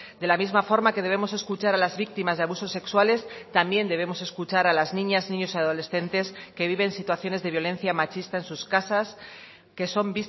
de la misma forma que debemos escuchar a las víctimas de abusos sexuales también debemos escuchar a las niñas niños y adolescentes que viven situaciones de violencia machista en sus casas que son